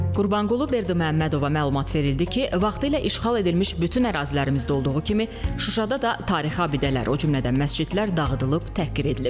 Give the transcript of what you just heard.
Qurbanqulu Berdiməhəmmədova məlumat verildi ki, vaxtilə işğal edilmiş bütün ərazilərimizdə olduğu kimi, Şuşada da tarixi abidələr, o cümlədən məscidlər dağıdılıb, təhqir edilib.